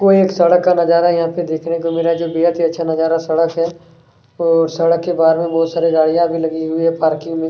कोई एक सड़क का नजारा यहाँ पे देखने को मिल रहा है जो बेहत ही अच्छा नज़ारा सड़क है और सड़क के बाहर मे बहुत सारी गाड़ियाँ भी लगी हुई है पार्किंग में--